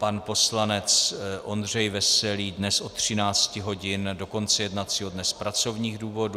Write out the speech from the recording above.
Pan poslanec Ondřej Veselý dnes od 13 hodin do konce jednacího dne z pracovních důvodů.